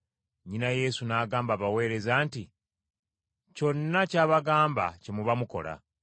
Nnyina Yesu n’agamba abaweereza nti, “Kyonna ky’abagamba kye muba mukola.”